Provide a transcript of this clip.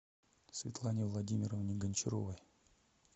светлане владимировне гончаровой